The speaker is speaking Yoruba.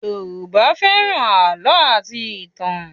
Yoruba fẹ́ràn àlọ́ àti ìtàn